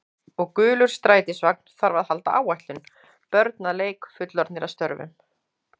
Og gulur strætisvagn þarf að halda áætlun, börn að leik, fullorðnir að störfum.